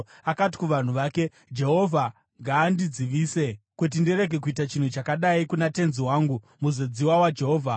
Akati kuvanhu vake, “Jehovha ngaandidzivise kuti ndirege kuita chinhu chakadai kuna tenzi wangu, muzodziwa waJehovha.”